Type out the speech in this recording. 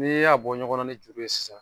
N'e y'a bɔ ɲɔgɔnna ni juru ye sisan